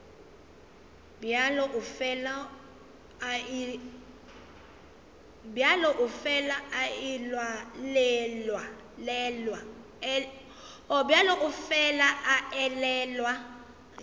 bjalo o fela a elelwa